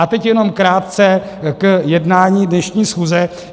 A teď jenom krátce k jednání dnešní schůze.